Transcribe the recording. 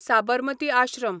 Sabarmati Ashram